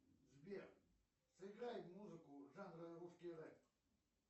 сбер сыграй музыку жанра русский рэп